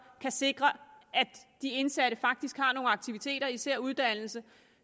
kan sikre at de indsatte faktisk har nogle aktiviteter især uddannelse